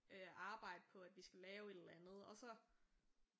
Øh arbejde på at vi skal lave et eller andet og så